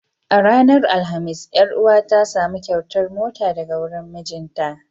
A ranar alhamis, ƴar uwa ta samu kyautar mota daga wurin mijinta.